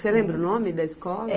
Você lembra o nome da escola?